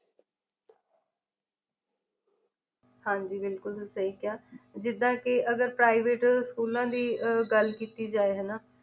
ਹਾਂਜੀ ਬਿਲਕੁਲ ਤੁਸੀ ਸਹੀ ਕਿਹਾ ਜਿਦਾ ਕੇ ਅਗਰ private ਸਕੂਲਾਂ ਦੀ ਅਹ ਗੱਲ ਕੀਤੀ ਜਾਏ ਹਨਾਂ